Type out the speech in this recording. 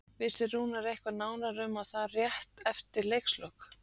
Vissi Rúnar eitthvað nánar um það rétt eftir leikslok?